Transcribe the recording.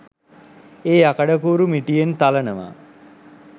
ඒ යකඩ කූරු මිටියෙන් තලනවා